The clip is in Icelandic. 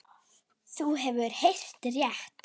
Þú hefur heyrt rétt.